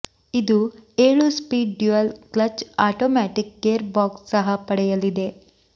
ಇದು ಏಳು speed dual clutch automatic gear box ಸಹ ಪಡೆಯಲಿದೆ